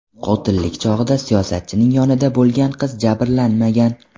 Qotillik chog‘ida siyosatchining yonida bo‘lgan qiz jabrlanmagan.